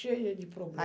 Cheia de problema.